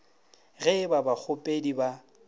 ge e ba bakgopedi ba